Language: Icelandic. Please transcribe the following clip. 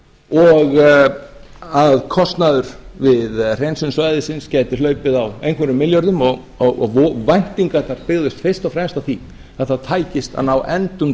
og að kostnaður við hreinsun svæðisins gæti hlaupið á einhverjum milljörðum og væntingarnar byggðust fyrst og fremst á því að það tækist að ná endum